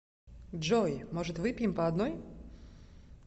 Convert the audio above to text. джой может выпьем по одной